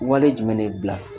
Wale jumɛn dɛ